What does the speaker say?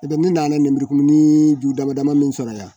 N tɛ ne nana lemurukumuni ju dama dama min sɔrɔ yan